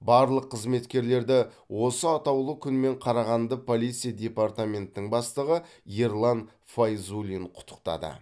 барлық қызметкерлерді осы атаулы күнмен қарағанды полиция департаментінің бастығы ерлан файзуллин құттықтады